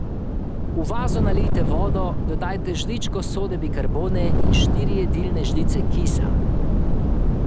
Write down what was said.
V vazo nalijte vodo, dodajte žličko sode bikarbone in štiri jedilne žlice kisa.